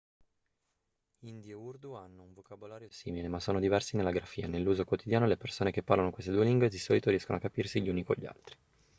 hindi e urdu hanno un vocabolario simile ma sono diversi nella grafia nell'uso quotidiano le persone che parlano queste due lingue di solito riescono a capirsi gli uni con gli altri